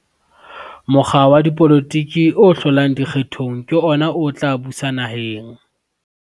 mokga wa dipolotiki o hlolang dikgethong ke ona o tla busa naheng